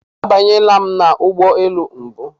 Abanyela m n'ụgbọelu mbu.